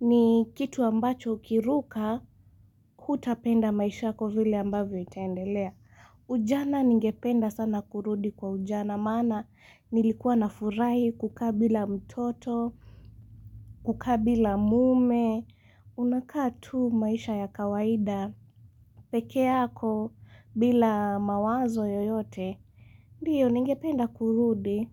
ni kitu ambacho ukiruka hutapenda maishako vile ambavyo itendelea. Ujana ningependa sana kurudi kwa ujana. Maana nilikuwa na furai kukaa bila mtoto, kukabila mume, unakatatu maisha ya kawaida, pekeako bila mawazo yoyote. Ndiyo ninge penda kurudi.